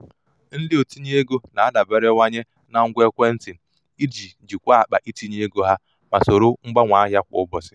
ndị otinye ego na-adaberewanye na ngwa ekwentị iji jikwaa akpa itinye ego ha ma soro mgbanwe ahịa kwa ụbọchị.